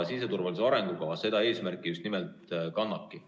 Siseturvalisuse arengukava seda eesmärki just nimelt kannabki.